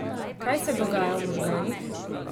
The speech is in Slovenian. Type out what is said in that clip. Kaj se dogaja v možganih?